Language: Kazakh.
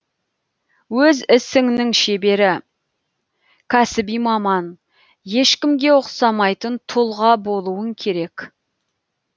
өз ісіңнің шебері кәсіби маман ешкімге ұқсамайтын тұлға болуың керек